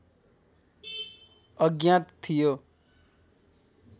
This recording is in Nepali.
अज्ञात थियो